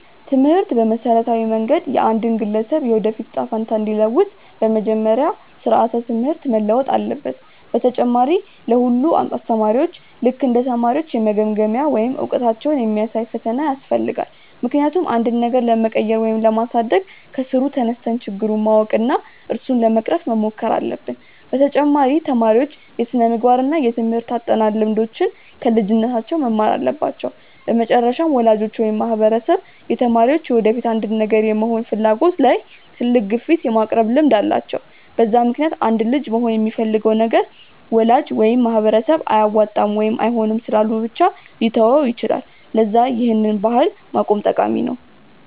ትምህርት በመሠረታዊ መንገድ የአንድን ግለሰብ የወደፊት እጣ ፈንታ እንዲለውጥ፤ በመጀመሪያ ስራዓተ ትምህርት መለወጥ አለበት፣ በተጨማሪ ለ ሁሉም አስተማሪዎች ልክ እንደ ተማሪዎች የመገምገሚያ ወይም እውቀታቸውን የሚያሳይ ፈተና ያስፈልጋል፤ ምክንያቱም አንድን ነገር ለመቀየር ወይም ለማሳደግ ከስሩ ተነስተን ችግሩን ማወቅ እና እሱን ለመቅረፍ መሞከር አለብን፤ በተጨማሪ ተማሪዎች የስነምግባር እና የትምርህት አጠናን ልምዶችን ከልጅነታቸው መማር አለባቸው፤ በመጨረሻም ወላጆች ወይም ማህበረሰብ የተማሪዎች የወደፊት አንድን ነገር የመሆን ፍላጎት ላይ ትልቅ ግፊት የማቅረብ ልምድ አላቸው፤ በዛ ምክንያትም አንድ ልጅ መሆን የሚፈልገውን ነገር ወላጅ ወይም ማህበረሰብ አያዋጣም ወይም አይሆንም ስላሉ ብቻ ሊተወው ይችላል፤ ለዛ ይህን ባህል ማቆም ጠቃሚ ነው።